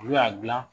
Olu y'a dilan